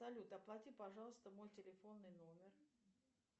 салют оплати пожалуйста мой телефонный номер